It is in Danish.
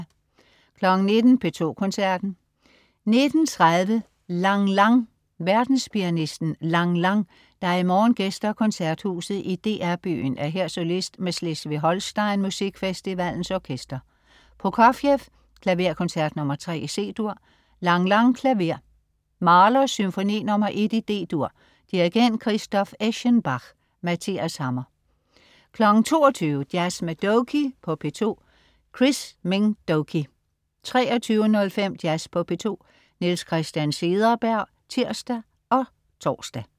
19.00 P2 Koncerten. 19.30 Lang Lang. Verdenspianisten Lang Lang, der i morgen gæster Koncerthuset i DR Byen, er her solist med Schleswig-Holstein Muskfestivalens Orkester. Prokofjev: Klaverkoncert nr. 3, C-dur. Lang Lang, klaver. Mahler: Symfoni nr. 1, D-dur. Dirigent: Christoph Eschenbach. Mathias Hammer 22.00 Jazz med Doky på P2. Chris Minh Doky 23.05 Jazz på P2. Niels Christian Cederberg (tirs og tors)